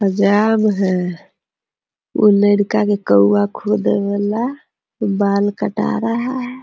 हजाम है वो लड़का के कौआ खोदे वाला बाल कटा रहा है ।